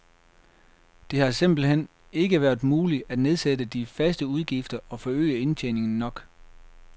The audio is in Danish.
Det har simpelt hen ikke været muligt at nedsætte de faste udgifter og forøge indtjeningen nok.